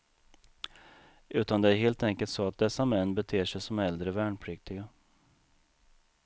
Utan det är helt enkelt så att dessa män beter sig som äldre värnpliktiga.